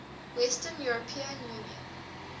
western european union